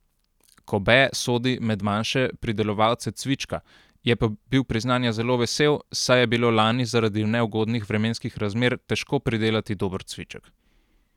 Kobe sodi med manjše pridelovalce cvička, je pa bil priznanja zelo vesel, saj je bilo lani zaradi neugodnih vremenskih razmer težko pridelati dober cviček.